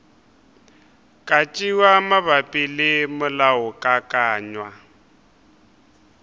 ka tšewa mabapi le molaokakanywa